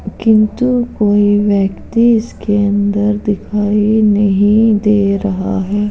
किन्तु कोई व्यक्ति इसके अंदर दिखाई नहीं दे रहा है।